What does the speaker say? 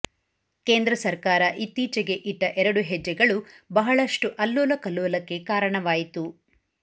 ಕೇಂದ್ರ ಸರ್ಕಾರ ಇತ್ತೀಚಿಗೆ ಇಟ್ಟ ಎರಡು ಹೆಜ್ಜೆಗಳು ಬಹಳಷ್ಟು ಅಲ್ಲೋಲಕಲ್ಲೋಲಕ್ಕೆ ಕಾರಣವಾಯಿತು